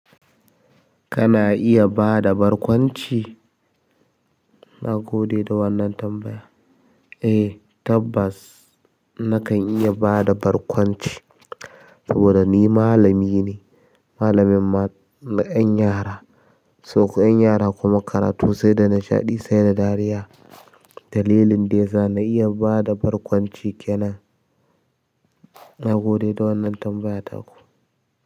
Kana iya ba da barkwanci? Na gode da wannan tambaya. Eh, tabbas nakan iya bada bar kwanci. Saboda ni malami ne, malamin ma na ƴan yara. Sosa yin yara kuma karatu sai da nashaɗi sai da dariya. Dalilin da yasa na iya ba da barkwanci kenan. Na gode da wannan tambaya ta ku.